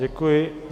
Děkuji.